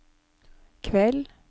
kveld